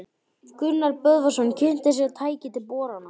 Gunnar Böðvarsson kynnti sér tæki til borana í